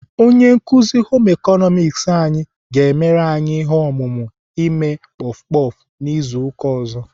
Onye nkuzi Home ịkọnọmiks anyị ga-emere anyị ihe omume ime puff puff n'izu ụka ọzọ.